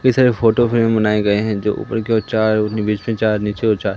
कई सारे photo frame बनाए गए हैं जो ऊपर की ओर चार नी बीच में चार नीचे और चार--